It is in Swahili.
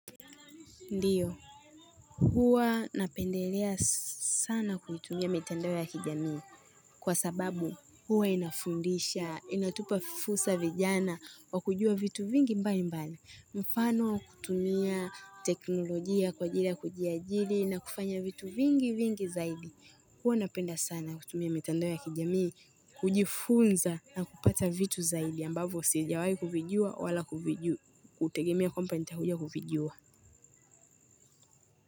Ndiyo huwa napendelea sana kuitumia mitandao ya kijamii kwa sababu huwa inafundisha inatupa fursa vijana kwa kujua vitu vingi mbali mbali mfano wa kutumia teknolojia kwa ajili wa kujiajiri na kufanya vitu vingi vingi zaidi huwa napenda sana kutumia mitandao ya kijamii hujifunza na kupata vitu zaidi ambavo sijawai kuvijuwa wala kuviju, kutegemea kwamba nitakuja kuvijuwa.